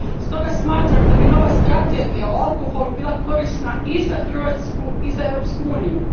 Stoga smatram da bi nova strategija o alkoholu bila korisna i za Hrvatsku i za Europsku uniju.